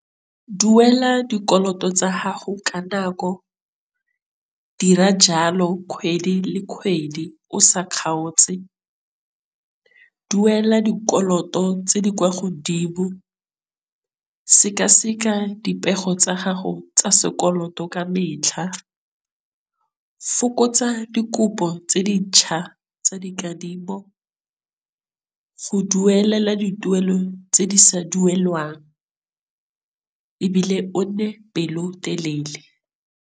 Duela dikoloto tsa gago ka nako, dira jalo kgwedi le kgwedi o sa kgaotse. Duela dikoloto tse di kwa godimo, sekaseka dipego tsa gago tsa sekoloto ka metlha, fokotsa dikopo tse dintšha tsa dikadimo, go duelela dituelo tse di sa duelwang ebile o nne pelotelele.